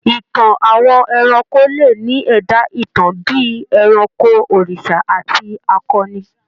Ìtàn àwọn ẹranko le ní ẹ̀dá-ìtàn bí i ẹranko, òrìṣà àti akọni.